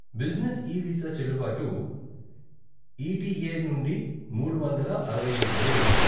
Business e visa చెల్లుబాటు ETA నుండి మూడు వందల అరవై ఐదు రోజులు.